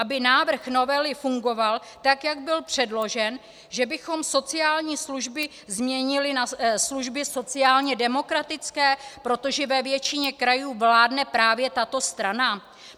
Aby návrh novely fungoval, tak jak byl předložen, že bychom sociální služby změnili na služby sociálně demokratické, protože ve většině krajů vládne právě tato strana?